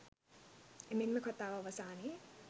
එමෙන්ම කථාව අවසානයේ